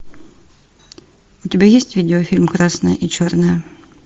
у тебя есть видеофильм красное и черное